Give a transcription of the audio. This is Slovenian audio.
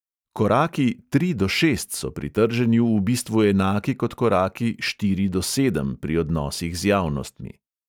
Koraki od tri do šest so pri trženju v bistvu enaki kot koraki od štiri do sedem pri odnosih z javnostmi.